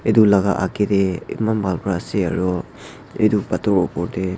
etu laga agee te emmaan bhal pora ase aro etu pathor opor te.